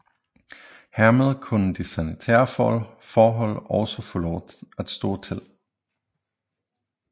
Hermed kunne de sanitære forhold også få lov at stå til